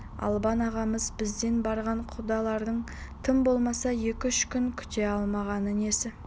албан ағамыз бізден барған құдаларын тым болмаса екі-үш күн күте алмағаны несі